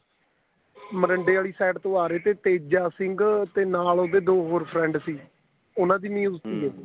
ਮੋਰਿੰਡੇ ਵਾਲੇ side ਤੋਂ ਆ ਰਹੇ ਥੇ ਤੇਜਾ ਸਿੰਘ ਤੇ ਨਾਲ ਉਹਦੇ ਦੋ ਹੋਰ friend ਸੀ ਉਹਨਾ ਦੀ ਉਹ ਸੀ